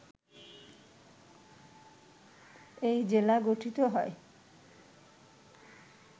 এই জেলা গঠিত হয়